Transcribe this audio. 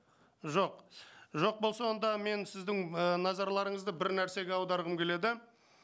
жоқ жоқ болса онда мен сіздің і назарларыңызды бір нәрсеге аударғым келеді